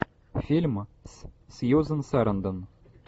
фильм с сьюзен сарандон